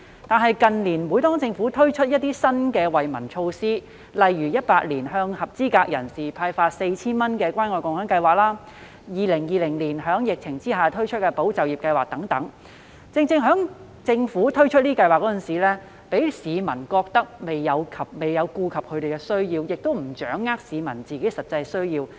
但是，近年每當政府推出新的惠民措施時，例如2018年向合資格人士派發 4,000 元的關愛共享計劃，以及2020年在疫情下推出的"保就業"計劃等，讓市民覺得政府在推出類似計劃時未有顧及他們的需要，也無法掌握他們的實際需要。